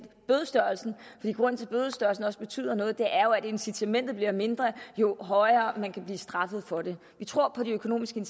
bødestørrelsen også betyder noget er at incitamentet bliver mindre jo hårdere man kan blive straffet for det vi tror på de økonomiske